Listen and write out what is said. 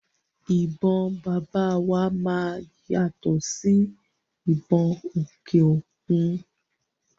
Ìbọn bàbá wa máa yàtọ̀ sí ìbọn òkè òkun.